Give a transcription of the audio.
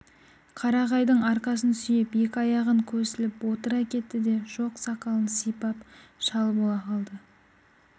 қарағайдың арқасын сүйеп екі аяғын көсіліп отыра кетті де жоқ сақалын сипап шал бола қалды